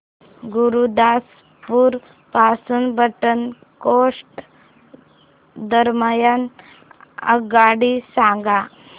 गुरुदासपुर पासून पठाणकोट दरम्यान आगगाडी सांगा